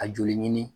A joli ɲini